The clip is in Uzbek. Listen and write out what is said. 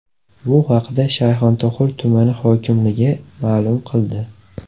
Bu haqda Shayxontohur tumani hokimligi ma’lum qildi .